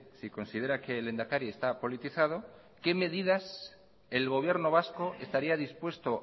si considera que el lehendakari está politizado qué medidas el gobierno vasco estaría dispuesto